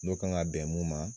N'o kan ka bɛn mun ma